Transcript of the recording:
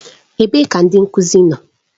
Ebee ka ndị nkuzi nọ?